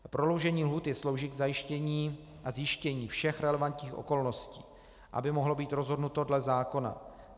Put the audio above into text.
Prodloužení lhůty slouží k zajištění a zjištění všech relevantních okolností, aby mohlo být rozhodnuto dle zákona.